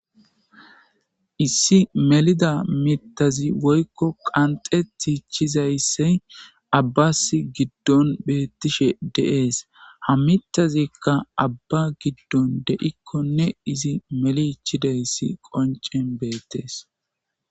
Issi melida miththazi woyko qanxetichizaysi,Abbasi giddon beetishe de'ees. Ha miththazi Abba giddon de'ikoni ne ize melichidaysi qonccen beetees.